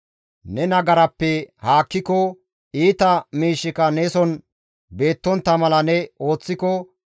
Neni nagarappe haakkiko, iita miishshika neson beettontta mala ne ooththiko,